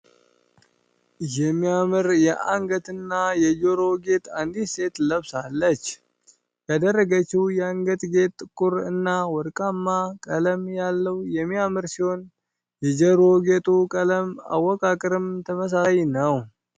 የሚያምር የአንገት እና የጆሮ ጌጥ አንዲት ሴት ለብሳለች። ያደረገችው የአንገት ጌጥ ጥቁር እና ወርቃማ ቀለም ያለው የሚያምር ሲሆን የጆሮ ጌጡ ቀለም አወቃቀርም ተመሳሳይ ነው።